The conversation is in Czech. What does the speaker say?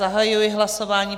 Zahajuji hlasování.